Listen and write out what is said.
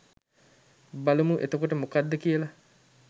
බලමු එතකොට මොකක්ද කියල.